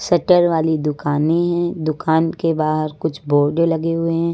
Shutter वाली दुकानें हैं दुकान के बाहर कुछ बोर्डे लगे हुए हैं।